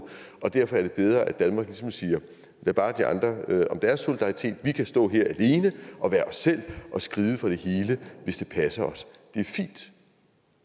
og derfor er det bedre at danmark ligesom siger lad bare de andre om deres solidaritet vi kan stå her alene og være os selv og skride fra det hele hvis det passer os det er fint